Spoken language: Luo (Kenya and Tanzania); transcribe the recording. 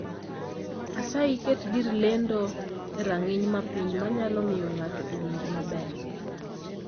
Asayi, ket gir lendo e rang'iny mapiny manyalo miyo ng'ato owinj maber.